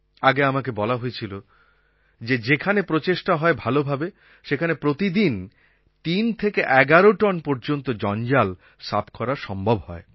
আগে আমাকে বলা হয়েছিল যে যেখানে প্রচেষ্টা হয় ভালোভাবে সেখানে প্রতিদিন ৩ থেকে ১১ টন পর্যন্ত জঞ্জাল সাফ করা সম্ভব হয়